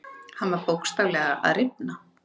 Hann var bókstaflega að rifna.